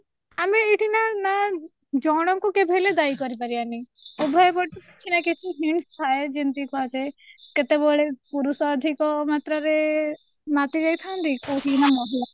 ଆମେ ଏଇଠି ଏଇଠି ନା ଜଣ ଙ୍କୁ କେବେହେଲେ ଦାୟୀ କରିପାରିବାନି ଉଭୟ ପଟୁ କିଛି ନା କିଛି hints ଥାଏ ଯେମିତି କୁହାଯାଏ କେତେବେଳେ ପୁରୁଷ ଅଧିକ ମାତ୍ରା ରେ ମାତିଯାଇଥାନ୍ତି କୋଉଠି କିନା ମହିଳା